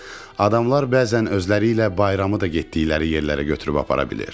Adamlar bəzən özləri ilə bayramı da getdikləri yerlərə götürüb apara bilir.